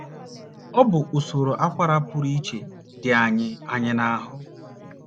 Ọ bụ usoro akwara pụrụ iche dị anyị anyị n’ahụ́.